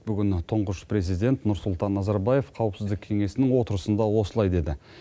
бүгін тұңғыш президент нұрсұлтан назарбаев қауіпсіздік кеңесінің отырысында осылай деді